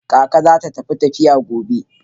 Kaka za ta tafi tafiya gobe.